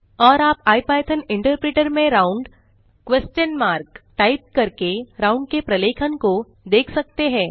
और आप IPython interpreter में राउंड क्वेस्शन मार्क टाइप करके राउंड के प्रलेखन को देख सकते हैं